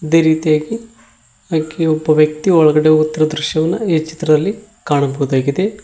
ಅದೆ ರೀತಿಯಾಗಿ ಒಬ್ಬ ವ್ಯಕ್ತಿ ಒಳಗಡೆ ಹೋಗುತ್ತಿರುವ ದೃಶ್ಯವನ್ನು ಈ ಚಿತ್ರದಲ್ಲಿ ಕಾಣಬಹುದಾಗಿದೆ.